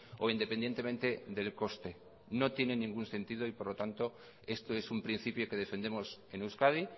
o independientemente del coste no tiene ningún sentido y por lo tanto esto es un principio que defendemos en euskadi